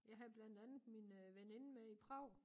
Jeg havde blandt andet min veninde med i Prag